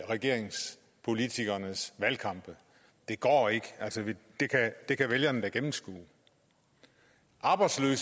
regeringens politikeres valgkamp det går ikke det kan vælgerne da gennemskue arbejdsløse